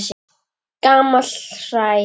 Gamalt hræ.